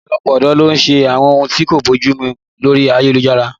Ọ̀pọ̀lọpọ̀ ọ̀dọ́ ló ń ṣe àwọn ohun tí kò bójú mu lórí ayélujára